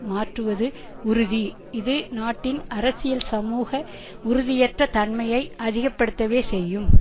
மாற்றுவது உறுதி இது நாட்டின் அரசியல் சமூக உறுதியற்ற தன்மையை அதிகப்படுத்தவே செய்யும்